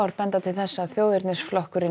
benda til þess að þjóðernisflokkurinn